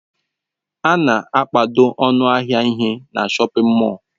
A na-akpado ọnụ ahịa ihe na shọpin mọll.